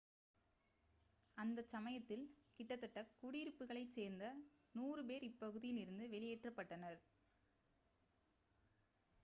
அந்தச் சமயத்தில் கிட்டத்தட்ட குடியிருப்புகளைச் சேர்ந்த 100 பேர் இப்பகுதியில் இருந்து வெளியேற்றப்பட்டனர்